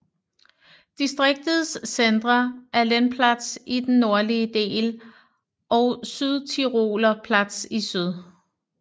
Distriktets centre er Lendplatz i den nordlige del og Südtiroler Platz i syd